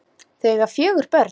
Þau eiga fjögur börn.